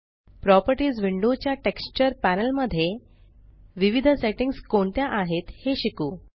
properties window च्या texture panel मध्ये विविध सेट्टिंग्स कोणत्या आहेत हे शिकू